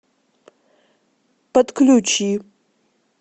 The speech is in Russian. подключи